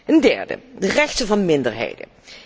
Ten derde de rechten van minderheden.